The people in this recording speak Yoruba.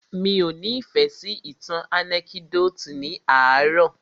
Mí ọ́ ni ìfẹ́ sí ìtàn ànẹ́kídòtì ní àárò.